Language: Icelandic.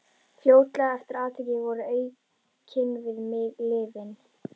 Fljótlega eftir atvikið voru aukin við mig lyfin.